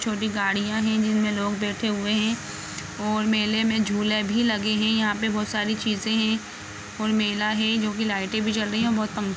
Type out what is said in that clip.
छोटी गाड़ियां है जिसमे लोग बैठे हुए है और मेले में झूले भी लगे है यहाँ पर बहुत सारी चीजें हैऔर मेला है जोकि लाइट भी जल रही है बहुत बहुत पंखे --